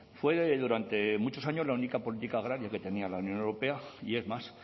fue durante muchos años la única política agraria que tenía la unión europea y es más